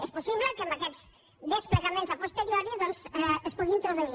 és possible que amb aquests desplegaments a posteriori doncs es pugui introduir